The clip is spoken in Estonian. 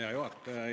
Hea juhataja!